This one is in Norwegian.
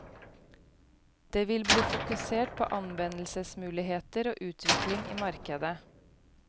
Det vil bli fokusert på anvendelsesmuligheter og utvikling i markedet.